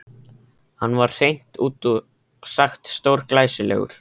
Hann var hreint út sagt stórglæsilegur.